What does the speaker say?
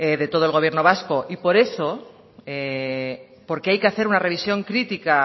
de todo el gobierno vasco y por eso porque hay que hacer una revisión crítica